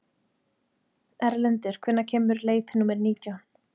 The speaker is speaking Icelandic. Erlendur, hvenær kemur leið númer nítján?